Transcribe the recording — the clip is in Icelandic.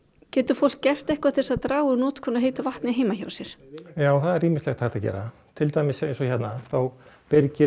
getur fólk gert eitthvað til þess að draga úr notkun á heitu vatni heima hjá sér já það er ýmislegt hægt að gera til dæmis eins og hérna þá byrgir